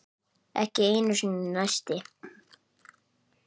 Ekki einu sinni neisti.